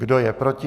Kdo je proti?